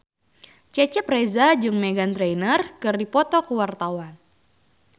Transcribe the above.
Cecep Reza jeung Meghan Trainor keur dipoto ku wartawan